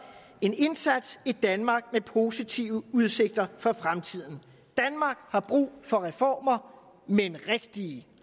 en indsats et danmark med positive udsigter for fremtiden danmark har brug for reformer men rigtige